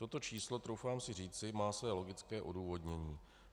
Toto číslo, troufám si říci, má své logické odůvodnění.